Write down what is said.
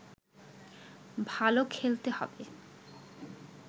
ভালো খেলতে হবে